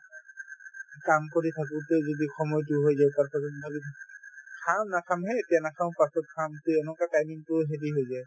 কাম কৰি থাকোতে যদি সময়তো হৈ যায় তাৰপাছত খাম নাখাম সেই এতিয়া নাখাওঁ পাছত খাম তে এনেকুৱা timing তোও হেৰি হৈ যায়